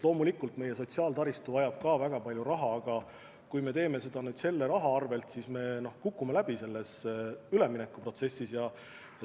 Loomulikult meie sotsiaaltaristu vajab ka väga palju raha, aga kui me teeme seda selle raha arvel, siis me kukume üleminekuprotsessis läbi.